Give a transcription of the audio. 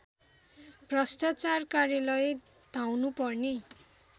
भ्रष्टाचार कार्यालय धाउनुपर्ने